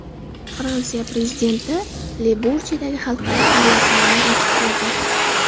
Fransiya prezidenti Le-Burjedagi xalqaro aviasalonni ochib berdi.